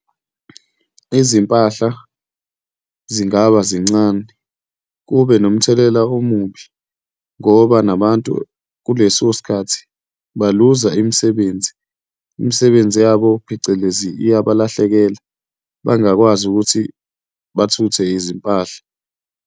Izimpahla zingaba zincane kube nomthelela omubi ngoba nabantu kuleso sikhathi baluza imisebenzi, imisebenzi yabo phecelezi, iyabalahlekela, bangakwazi ukuthi bathuthe izimpahla.